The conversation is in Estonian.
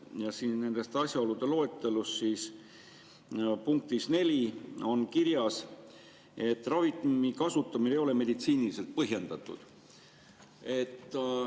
Ja siin nende asjaolude loetelus punktis 4 on kirjas, et ravimi kasutamine ei ole meditsiiniliselt põhjendatud.